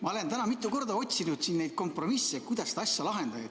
Ma olen täna mitu korda otsinud kompromisse, kuidas seda asja lahendada.